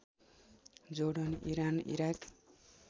Jordan Iran Iraq